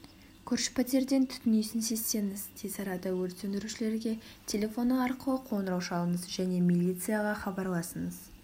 көрші пәтерден түтін иісін сезсеңіз тез арада өрт сөндірушілерге телефоны арқылы қоңырау шалыңыз және милицияға хабарлаңыз